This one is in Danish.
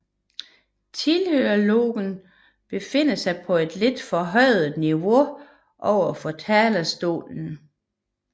Tilhørerlogen befinder på et lidt forhøjet niveau overfor talerstolen